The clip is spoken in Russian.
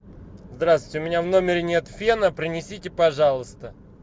здравствуйте у меня в номере нет фена принесите пожалуйста